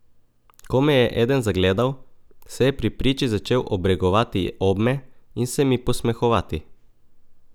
Ko me je eden zagledal, se je pri priči začel obregovati obme in se mi posmehovati.